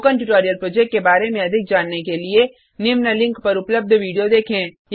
spoken tutorial project के बारे में अधिक जानने के लिए निम्न लिंक पर उपलब्ध विडियो देखें